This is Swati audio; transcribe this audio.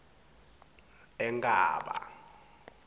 enkhaba